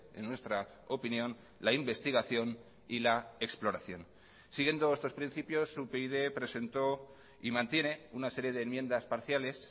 en nuestra opinión la investigación y la exploración siguiendo estos principios upyd presentó y mantiene una serie de enmiendas parciales